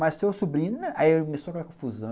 Mas seu sobrinho... Aí começou aquela confusão.